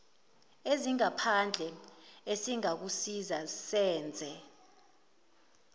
ezingaphandle esingakusiza senze